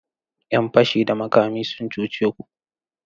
’Yan fashi da makami sun cuce ku?